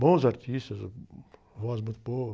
Bons artistas, voz muito boa.